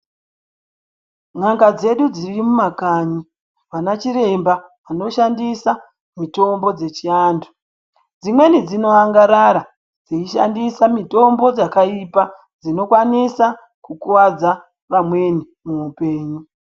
Munga dzedu dziri mumakanyi vana chiremba munoshandisa mutombo dzechiantu dzimweni dzinoangarara dzeishandisa mutombo dzakaipa dzinokwanisa kukuwadza vamweni muupenyu.